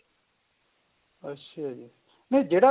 ਅੱਛਾ ਜੀ ਨਹੀਂ ਜਿਹੜਾ